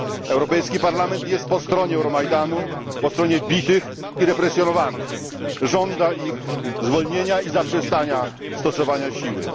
Europejski Parlament jest po stronie Euromajdanu, po stronie bitych i represjonowanych, żąda ich zwolnienia i zaprzestania stosowania siły.